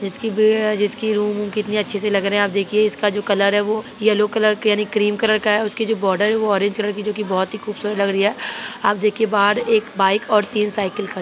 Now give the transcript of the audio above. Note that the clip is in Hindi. जिसकी रूम कितनी अच्छी सी लग रही है आप देखिए इसका जो कलर है वह येलो कलर यानी क्रीम कलर का है इसकी जो बॉर्डर है वो ऑरेंज कलर की है जो बहुत खूबसूरत है लग रही है। आप देखिये बाहर एक बाइक और तीन साइकल खड़ी--